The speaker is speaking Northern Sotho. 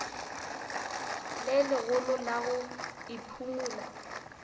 le legolo la go iphumola